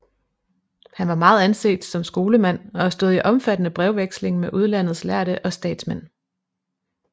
Han var meget anset som skolemand og stod i omfattende brevveksling med udlandets lærde og statsmænd